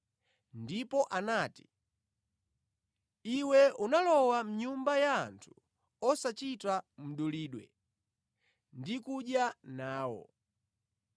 ndipo anati, “Iwe unalowa mʼnyumba ya anthu osachita mdulidwe ndi kudya nawo.”